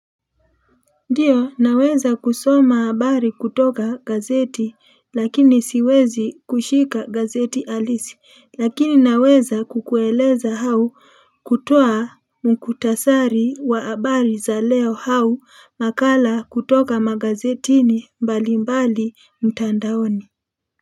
Ndio, naweza kusoma habari kutoka gazeti lakini siwezi kushika gazeti halisi, lakini naweza kukueleza au kutoa muhtasari wa habari za leo au makala kutoka magazetini mbali mbali mtandaoni.